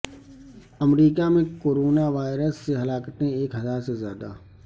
امریکہ میں corona virus سے ہلاکتیں ایک ہزار سے زیادہ